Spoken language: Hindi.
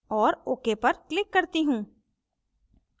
और ok पर click करती हूँ